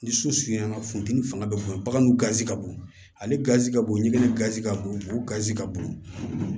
Ni so suyala funteni fanga bɛ bonya baganw gazi ka bon ale gazi ka bon ɲɛnɛnɛ kasi ka bon o gazi ka bon